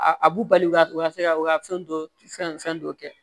A a b'u balikuya tugun ka se ka u ka fɛn dɔ fɛn dɔ kɛ